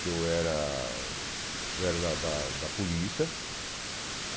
que eu era eu era da da da polícia.